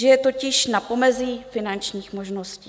Žije totiž na pomezí finančních možností.